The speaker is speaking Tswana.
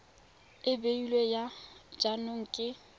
e beilweng ya jaanong ke